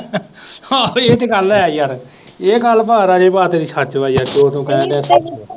ਹਾਂ ਇਹ ਤੋੇ ਗੱਲ ਹੈ ਯਾਰ, ਇਹ ਗੱਲ ਭਾਅ ਰਾਜੇ ਭਾਅ ਤੇਰੀ ਸੱਚ ਬਾਈ ਯਾਰ, ਜੋ ਤੂੰ ਕਹਿਣ ਡਿਆ ਸੱਚ